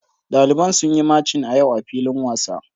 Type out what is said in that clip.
Daliban sun yi machin a yau a filin wasa.